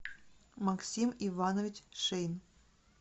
максим иванович шеин